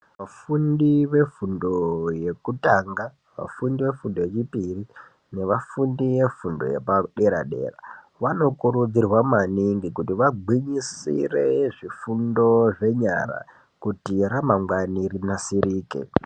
Vafundi vefundo yekutanga, vefundo yechipiri nevafindi vefundo yederedera vanokurudzirwa maningi kuti vagwinyisire maningi zvifundo zvenyara kuti ramangwana rinasirike.